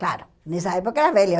Claro, nessa época era velha.